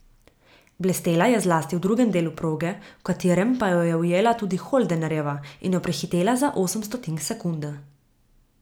Blestela je zlasti v drugem delu proge, v katerem pa jo je ujela tudi Holdenerjeva in jo prehitela za osem stotink sekunde.